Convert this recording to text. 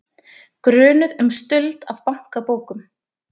Grunuð um stuld af bankabókum